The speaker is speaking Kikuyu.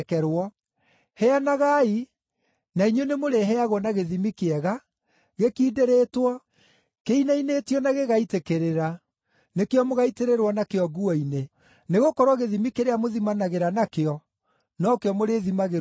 Heanagai, na inyuĩ nĩmũrĩheagwo na gĩthimi kĩega, gĩkindĩrĩtwo, kĩinainĩtio na gĩgaitĩkĩrĩra, nĩkĩo mũgaitĩrĩrwo nakĩo nguo-inĩ. Nĩgũkorwo gĩthimi kĩrĩa mũthimanagĩra nakĩo, no kĩo mũrĩthimagĩrwo nakĩo.”